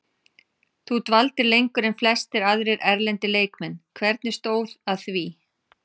Þú dvaldir lengur en flestir aðrir erlendir leikmenn, hvernig stóð að því?